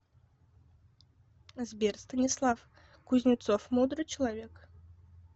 сбер станислав кузнецов мудрый человек